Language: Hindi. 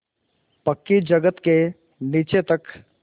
पक्की जगत के नीचे तक